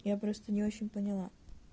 я просто не очень поняла